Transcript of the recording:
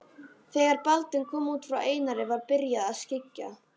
Þegar Baldvin kom út frá Einari var byrjað að skyggja.